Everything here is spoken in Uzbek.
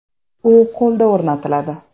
U qo‘lda o‘rnatiladi.